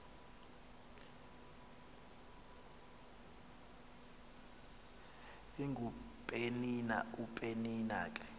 ingupenina upenina ke